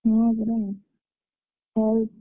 ହଁ ପରା ହଉ।